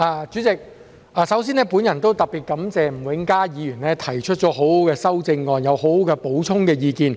主席，首先，我特別感謝吳永嘉議員提出很好的修正案，有很好的補充意見。